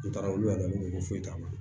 U taara olu yɛrɛ de ko foyi t'a la